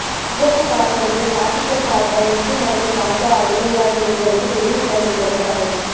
முகப்பு பார்ப்பனிய பாசிசம் பார்ப்பன இந்து மதம் காஞ்சா அய்லைய்யாவின் நூல்களுக்கு டெல்லி பல்கலைக்கழகம் தடை